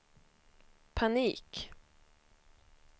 panik